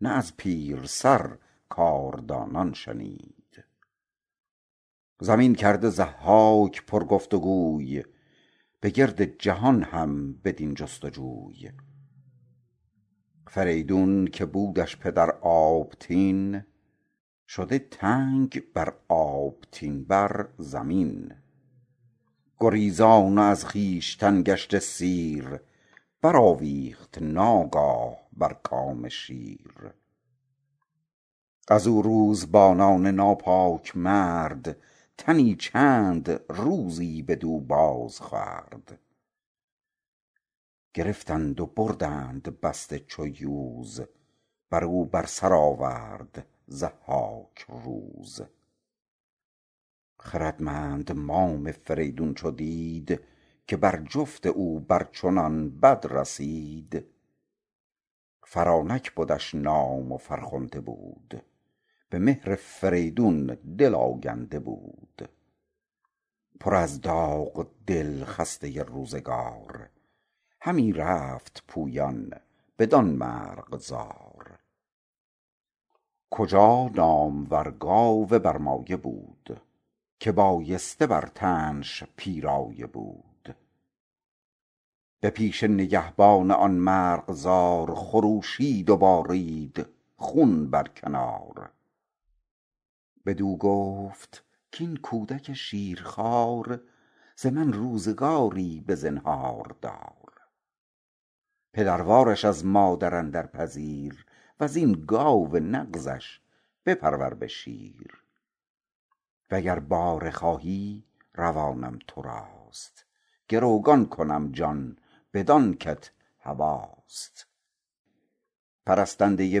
نه از پیرسر کاردانان شنید زمین کرده ضحاک پر گفت و گوی به گرد جهان هم بدین جست و جوی فریدون که بودش پدر آبتین شده تنگ بر آبتین بر زمین گریزان و از خویشتن گشته سیر برآویخت ناگاه بر کام شیر از آن روزبانان ناپاک مرد تنی چند روزی بدو باز خورد گرفتند و بردند بسته چو یوز برو بر سر آورد ضحاک روز خردمند مام فریدون چو دید که بر جفت او بر چنان بد رسید فرانک بدش نام و فرخنده بود به مهر فریدون دل آگنده بود پر از داغ دل خسته روزگار همی رفت پویان بدان مرغزار کجا نامور گاو برمایه بود که بایسته بر تنش پیرایه بود به پیش نگهبان آن مرغزار خروشید و بارید خون بر کنار بدو گفت کاین کودک شیرخوار ز من روزگاری بزنهار دار پدروارش از مادر اندر پذیر وزین گاو نغزش بپرور به شیر و گر باره خواهی روانم تراست گروگان کنم جان بدان کت هواست پرستنده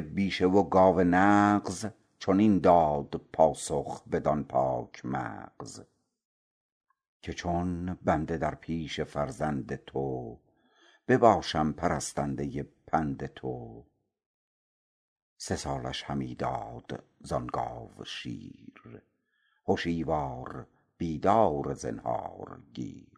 بیشه و گاو نغز چنین داد پاسخ بدان پاک مغز که چون بنده در پیش فرزند تو بباشم پرستنده پند تو سه سالش همی داد زان گاو شیر هشیوار بیدار زنهارگیر